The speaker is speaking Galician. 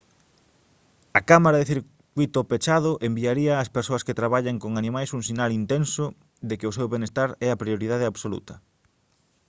«a cámara de circuíto pechado enviaría ás persoas que traballan con animais un sinal intenso de que o seu benestar é a prioridade absoluta»